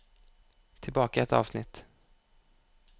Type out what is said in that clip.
Tilbake ett avsnitt